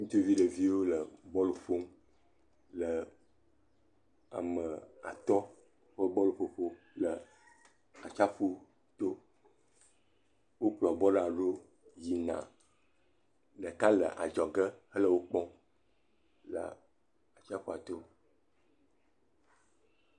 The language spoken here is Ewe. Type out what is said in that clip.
Ŋutsuvi ɖeviwo le bɔl ƒom, le ame atɔ ƒe bɔl ƒoƒo le atsiaƒu to, wo kplɔ bɔla do yina, ɖeka le adzɔge he le wò kpɔ le atsiaƒua to.